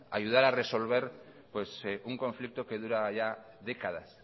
ayudar a resolver un conflicto que dura ya décadas